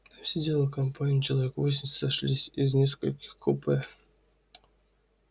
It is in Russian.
там сидела компания человек восемь сошлись из нескольких купе